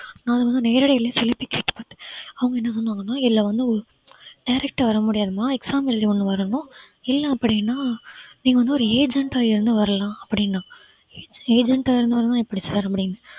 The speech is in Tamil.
நா~ அது வந்து அவங்க என்ன சொன்னாங்கன்னா இதுல வந்து ஒரு direct அ வர முடியாதும்மா exam எழுதி ஒண்ணு வரணும் இல்லை அப்படின்னா நீங்க வந்து ஒரு agent அ இருந்து வரலாம் அப்படின்னான் என்ன agent அ இருந்து வரணும்ன்னா எப்படி சேர முடியும்